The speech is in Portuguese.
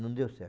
Não deu certo.